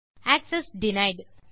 access denied